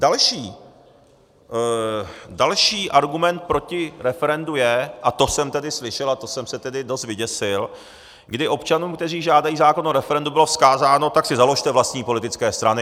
Další argument proti referendu je, a to jsem tedy slyšel a to jsem se tedy dost vyděsil, kdy občanům, kteří žádají zákon o referend bylo vzkázáno: Tak si založte vlastní politické strany.